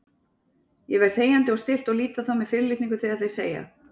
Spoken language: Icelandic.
Ég verð þegjandi og stillt og lít á þá með fyrirlitningu þegar þeir segja